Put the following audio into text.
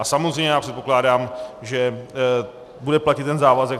A samozřejmě já předpokládám, že bude platit ten závazek.